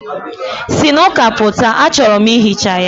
Si n'ụka pụta, achọrọ m ihicha ya.